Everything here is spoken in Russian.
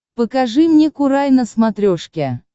покажи мне курай на смотрешке